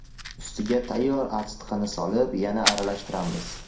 Ustiga tayyor achitqini solib, yana aralashtiramiz.